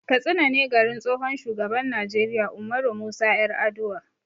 Katsina ne garin tsohon shugaban Najeriya Ummaru Musa 'Yaraduwa.